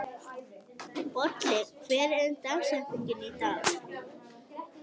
Bolli, hver er dagsetningin í dag?